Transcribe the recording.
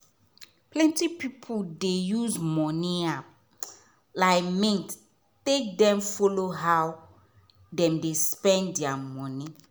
plenty pipu dey use money app like mint take dem follow how dem dey spend dia money.